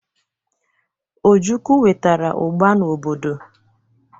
Ojukwu wetara ugba n'obodo.